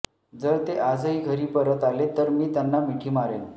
जर ते आजही घरी परत आले तर मी त्यांना मिठी मारेन